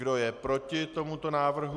Kdo je proti tomuto návrhu?